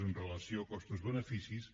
en relació costos beneficis